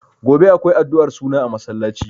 Gobe akwai addu'ar suna a masallaci.